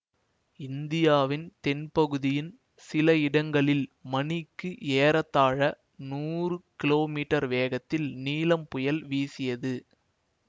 இந்தியாவின் தென்பகுதியின் சில இடங்களில் மணிக்கு ஏறத்தாழ நூறு கிலோமீட்டர் வேகத்தில் நீலம் புயல் வீசியது